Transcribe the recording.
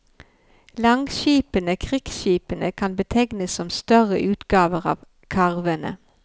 Langskipene, krigsskipene, kan betegnes som større utgaver av karvene.